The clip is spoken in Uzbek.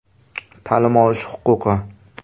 Ta’lim olish huquqi.